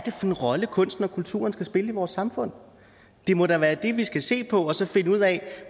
en rolle kunsten og kulturen skal spille i vores samfund det må da være det vi skal se på og så finde ud af